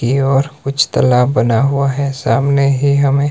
ये और कुछ तलाब बना हुआ है सामने ही हमें--